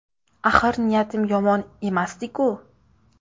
Axir niyatim yomon emasdi-ku?